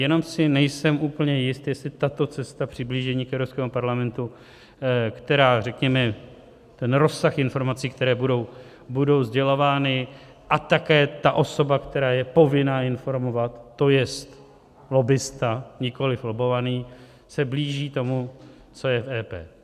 Jenom si nejsem úplně jist, jestli tato cesta přiblížení k Evropskému parlamentu, která řekněme ten rozsah informací, které budou sdělovány, a také ta osoba, která je povinna informovat, to jest lobbista, nikoliv lobbovaný, se blíží tomu, co je v EP.